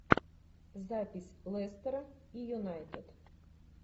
запись лестера и юнайтед